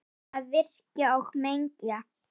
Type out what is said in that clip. Hætta að virkja og menga.